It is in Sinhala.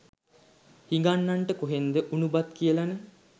හිඟන්නන්ට කොහෙන්ද උණු බත් කියලනේ.